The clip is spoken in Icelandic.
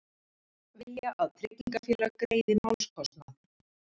Vilja að tryggingafélag greiði málskostnað